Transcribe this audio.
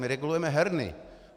My regulujeme herny.